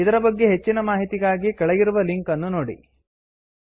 ಇದರ ಬಗ್ಗೆ ಹೆಚ್ಚಿನ ಮಾಹಿತಿಗಾಗಿ ಕೆಳಗಿರುವ ಲಿಂಕ್ ಅನ್ನುನೋಡಿ httpspoken tutorialorgNMEICT Intro